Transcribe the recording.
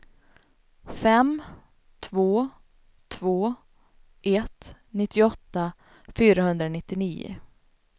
fem två två ett nittioåtta fyrahundranittionio